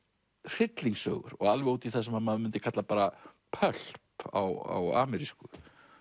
hryllingssögu og alveg út í það sem maður mundi kalla bara pulp á amerísku